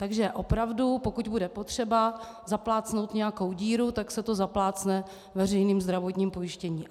Takže opravdu pokud bude potřeba zaplácnout nějakou díru, tak se to zaplácne veřejným zdravotním pojištěním.